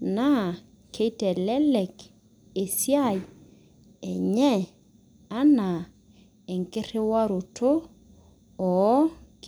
na kitelelek esiai enye ana enkiriwaroto oo.